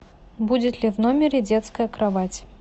будет ли в номере детская кровать